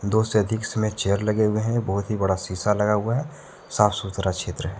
दो से अधिक इसमें चेयर लगे हुए हैं। बहुत ही बड़ा शीशा लगा हुआ है साफ सुथरा क्षेत्र है।